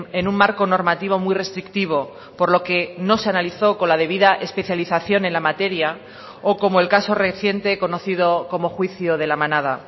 en un marco normativo muy restrictivo por lo que no se analizó con la debida especialización en la materia o como el caso reciente conocido como juicio de la manada